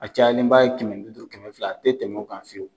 A cayalenba ye kɛmɛ duuru kɛmɛ fila, a te tɛm'o kan fiyewu.